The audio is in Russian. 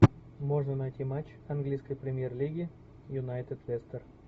можно найти матч английской премьер лиги юнайтед лестер